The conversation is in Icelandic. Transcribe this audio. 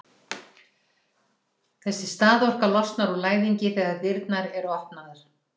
þessi staðorka losnar úr læðingi þegar dyrnar eru opnaðar